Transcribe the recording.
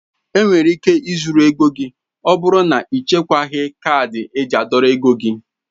Enwere ike ị zurụ ego gị ọbụrụ na ichekwaghi kaadị eji a dọrọ ego gị.